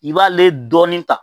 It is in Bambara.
I b'ale dɔɔni ta.